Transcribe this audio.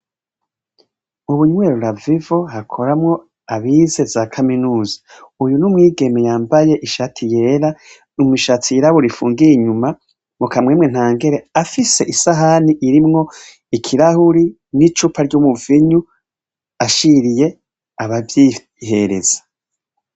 Ubunywero LA VIVO hakoramo abize za kaminuza. Uyu n'umwigeme yambaye ishati yera, imishatsi yirabura ifungiye inyuma, mukamwemwe nta ngere afise isahani irimwo ikirahuri n'icupa ry'umuvinyu ashiriye abavyihereza.